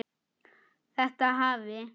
Þetta hafi